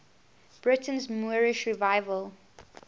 britain's moorish revival